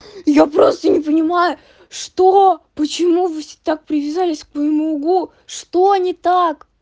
я просто не понимаю что почему вы все так привязались к моему лбу что не так